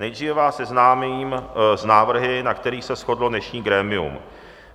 Nejdříve vás seznámím s návrhy, na kterých se shodlo dnešní grémium.